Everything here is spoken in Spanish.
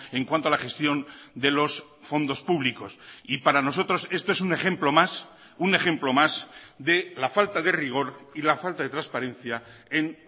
en cuanto a la gestión de los fondos públicos y para nosotros esto es un ejemplo más un ejemplo más de la falta de rigor y la falta de transparencia en